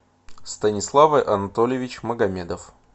станислав анатольевич магомедов